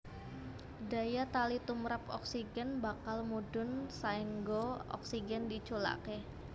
Daya tali tumrap oksigen bakal mudhun saéngga oksigen diculaké